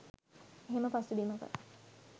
එහෙම පසුබිමක